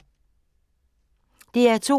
DR2